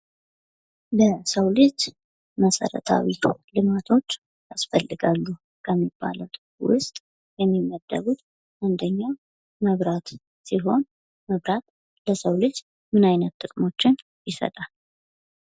ለሰው ልጅ መሰረታዊ ልማቶች ያስፈልጋሉ ከሚባለው ውስጥ የሚመደቡት አንደኛ መብራት ሲሆን መብራት ለሰው ልጅ ምን አይነት ጥቅሞችን ይሰጣል?